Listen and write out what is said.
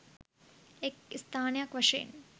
එක් ස්ථානයක් වශයෙන්